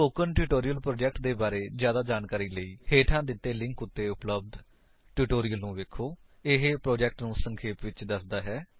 spoken tutorial project ਦੇ ਬਾਰੇ ਜਿਆਦਾ ਜਾਣਨ ਲਈ ਹੇਠਾਂ ਦਿੱਤੇ ਲਿੰਕ ਉੱਤੇ ਉਪਲੱਬਧ ਟਿਊਟੋਰਿਅਲ ਨੂੰ ਵੇਖੋ ਇਹ ਪ੍ਰੋਜੇਕਟ ਨੂੰ ਸੰਖੇਪ ਵਿਚ ਦਸਦਾ ਹੈ